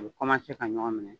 U bɛ ka ɲɔgɔn minɛ